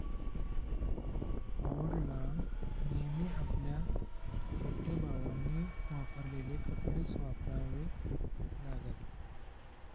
ओड ला नेहमी आपल्या मोठ्या भावांनी वापरलेले कपडेच वापरावे लागत